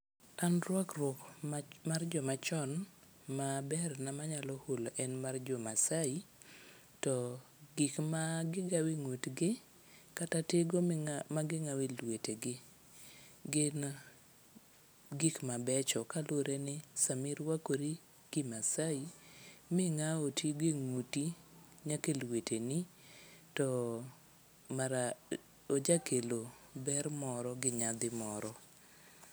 An rwakruok mar jomachon maberna manyalo hulo en mar Jomaasai, to gik magigawo e ng'utgi kata tigo maging'awo e lwetegi. Gin gik mabecho kalure ni sami rwakori kimaasai ming'awo tigo e ng'uti nyaka e lweteni, to ojakelo ber moro gi nyadhi moro.